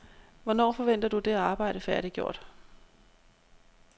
Hvornår forventer du det arbejde færdiggjort?